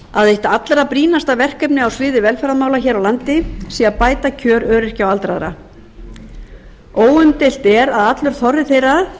að eitt allra brýnasta verkefnið á sviði velferðarmála hér á landi sé að bæta kjör öryrkja og aldraðra óumdeilt er að allur þorri þeirra